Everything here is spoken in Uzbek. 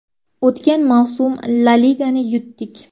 O‘tgan mavsum La Ligani yutdik.